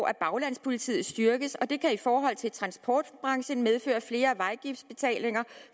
at baglandspolitiet styrkes og det kan i forhold til transportbranchen medføre flere vejafgiftbetalinger